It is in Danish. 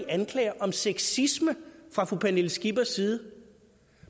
anklager om sexisme fra fru pernille skippers side